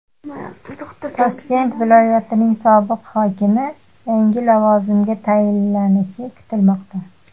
Toshkent viloyatining sobiq hokimi yangi lavozimga tayinlanishi kutilmoqda.